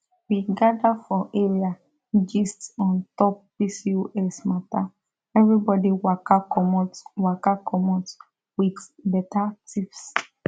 we gather for area gist on top pcos matter everybody waka commot waka commot with better tips